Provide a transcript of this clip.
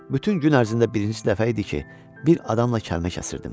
Bütün gün ərzində birincisi dəfə idi ki, bir adamla kəlmə kəsirdim.